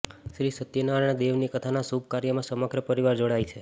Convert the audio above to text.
શ્રી સત્યનારાયણ દેવની કથાના શુભ કાર્યમાં સમગ્ર પરિવાર જોડાય છે